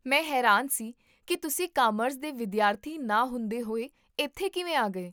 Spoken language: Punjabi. ਮੈਂ ਹੈਰਾਨ ਸੀ ਕਿ ਤੁਸੀਂ ਕਾਮਰਸ ਦੇ ਵਿਦਿਆਰਥੀ ਨਾ ਹੁੰਦੇ ਹੋਏ ਇੱਥੇ ਕਿਵੇਂ ਆ ਗਏ